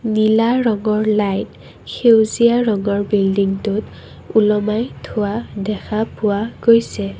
নীলা ৰঙৰ লাইট সেউজীয়া ৰঙৰ বিল্ডিংটোত ওলমাই থোৱা দেখা পোৱা গৈছে।